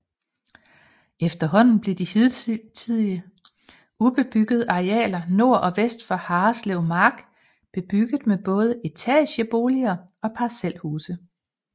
Efterhånden blev de hidtil ubebyggede arealer nord og vest for Harreslevmark bebygget med både etageboliger og parcelhuse